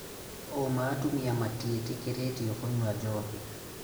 ũũma, atumia matiĩtĩkĩrĩtio kũnyua njohi